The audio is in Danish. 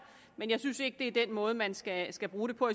men jeg synes ikke det er den måde man skal skal bruge det på